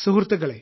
സുഹൃത്തുക്കളെ